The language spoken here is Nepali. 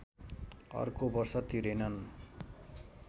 अर्को वर्ष तिरेनन्